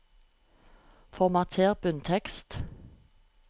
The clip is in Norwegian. Formater bunntekst